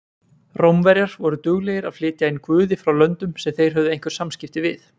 Rómverjar voru duglegir að flytja inn guði frá löndum sem þeir höfðu einhver samskipti við.